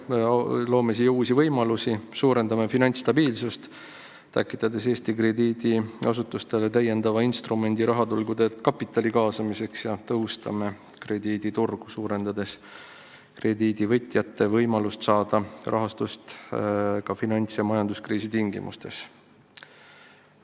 Me loome siia uusi võimalusi, suurendame finantsstabiilsust, tekitades Eesti krediidiasutustele täiendava instrumendi rahaturgude kapitali kaasamiseks, ja tõhustame krediiditurgu suurendades krediidivõtjate võimalust saada rahastust ka finants- ja majanduskriisi tingimustes.